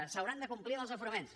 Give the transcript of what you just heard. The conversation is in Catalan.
s’haurà de complir amb els aforaments